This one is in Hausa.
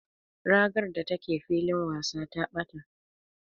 Ragar da take filin wasa ta ɓata.